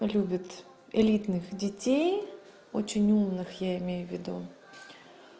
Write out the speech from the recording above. любит элитных детей очень умных я имею в виду